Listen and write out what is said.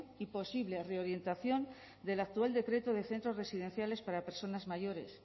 y posible reorientación del actual decreto de centros residenciales para personas mayores